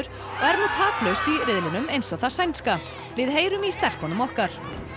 er nú taplaust í riðlinum eins og það sænska við heyrum í stelpunum okkar